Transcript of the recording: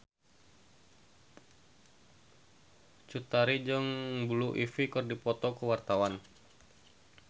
Cut Tari jeung Blue Ivy keur dipoto ku wartawan